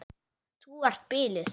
Þú ert biluð!